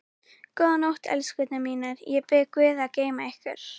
Góða nótt, elskurnar mínar, ég bið guð að geyma ykkur.